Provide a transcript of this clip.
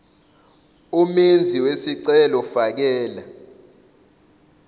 omenzi wesicelo fakela